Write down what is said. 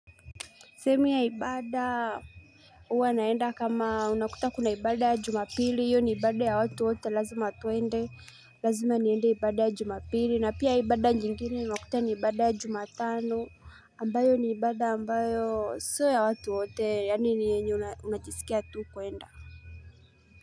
Semi ya ibada, hu Huwa naenda kama unakuta kuna ibada ya jumapili, hio ni ibada ya watu wote lazima tuende, lazima niende ibada ya jumapili, na pia ibada nyingini unakuta ni ibada ya jumatano, ambayo ni ibada ambayo sio ya watu wote, yani ni yenye unajisikia tu kuenda.